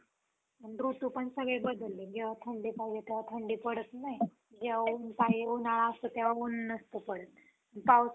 ऋतू पण सगळे बदलले. जेव्हा थंडी पाहिजे तेव्हा थंडी पडत नाही. जेव्हा उन्हाळा असतो तेव्हा ऊन नसतं पडत. पावसाळ्यात पाऊस नाही पडत. सगळं change होऊन बसलंय. ऋतुमानच बदलले सगळे.